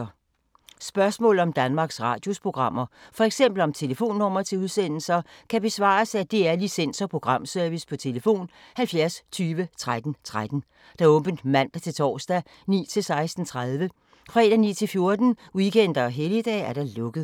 Spørgsmål om Danmarks Radios programmer, f.eks. om telefonnumre til udsendelser, kan besvares af DR Licens- og Programservice: tlf. 70 20 13 13, åbent mandag-torsdag 9.00-16.30, fredag 9.00-14.00, weekender og helligdage: lukket.